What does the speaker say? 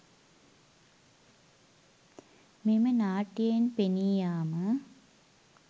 මෙම නාට්‍යයෙන් පෙනී යාම